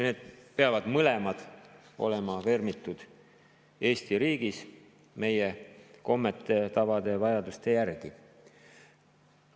Mõlemad peavad olema vermitud Eesti riigis meie kommete, tavade ja vajaduste järgi.